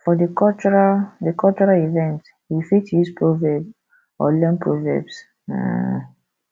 for di cultural di cultural event we fit use proverb or learn proverbs um